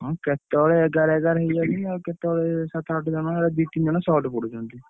ହଁ କେତେବେଳେ ଏଗାର ଏଗାର ହେଇଯାଉଛନ୍ତି ଆଉ କେତେବେଳେ ସାତ ଆଠ ଜଣ ଦି ତିନ ଜଣ short ପଡ଼ୁଛନ୍ତି।